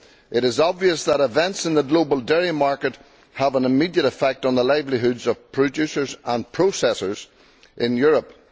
It is obvious that events in the global dairy market have an immediate effect on the livelihoods of producers and processors in Europe.